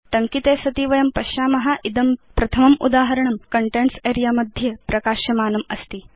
टङ्किते सति वयं पश्याम इदं प्रथमम् उदाहरणं कन्टेन्ट्स् अरेऽ मध्ये प्रकाश्यमानम् अस्ति